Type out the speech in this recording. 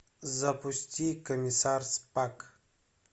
запусти комиссар спак